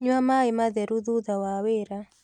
Nyua maĩ matheru thutha wa wĩra